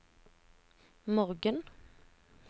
morgen